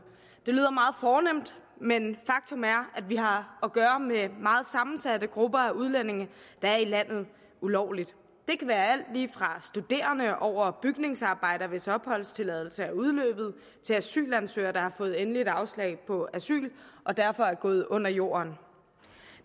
det lyder meget fornemt men faktum er at vi har at gøre med meget sammensatte grupper af udlændinge der er i landet ulovligt det kan være alt lige fra studerende over bygningsarbejdere hvis opholdstilladelse er udløbet til asylansøgere der har fået endeligt afslag på asyl og derfor er gået under jorden